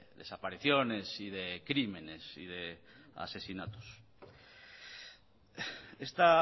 desapariciones y de crímenes y de asesinatos esta